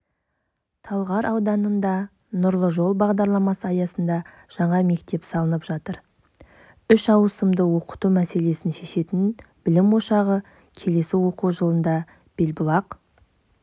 талғар ауданында нұрлы жол бағдарламасы аясында жаңа мектеп салынып жатыр үш ауысымда оқыту мәселесін шешетін білім ошағы келесі оқу жылында белбұлақ